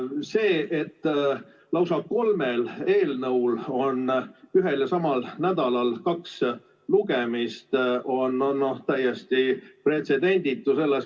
See, et lausa kolmel eelnõul on ühel ja samal nädalal kaks lugemist, on täiesti pretsedenditu.